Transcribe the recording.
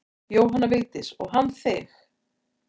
Jóhanna Vigdís: Og hann þig?